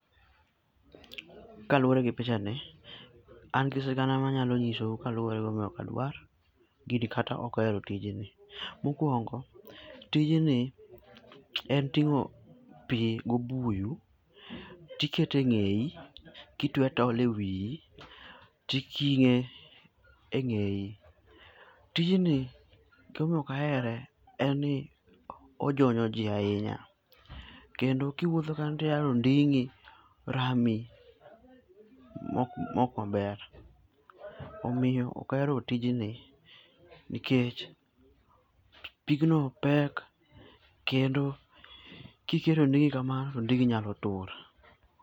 Kaluwore gi pichani, an gi sigana manyalo nyisou kaluwore gi gima omiyo ok adwa gini kata ok ahero tijni. Mokuongo tijni, en ting'o pi gobuyu, tiketo e ng'eyi to itwe tol ewiyi, titing'e eng'eyi. Tijni gima omiyo ok ahere en ni ijonyo ji ahinya. Kendo kiwuotho kanyo to ia ni onding'i rami mok maber. Omiyo ok ahero tijni nikech pigno pek kendo kiketo inding'i kamano to onding'i nyalo tur.